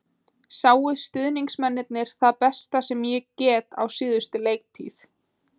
Sáu stuðningsmennirnir það besta sem ég get á síðustu leiktíð?